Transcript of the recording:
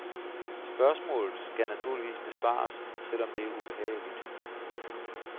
Spørgsmålet skal naturligvis besvares, selv om det er ubehageligt.